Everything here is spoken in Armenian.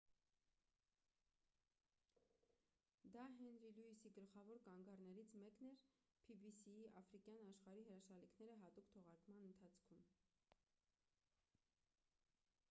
դա հենրի լյուիսի գլխավոր կանգառներից մեկն էր pbs-ի «աֆրիկյան աշխարհի հրաշալիքները» հատուկ թողարկման ընթացքում: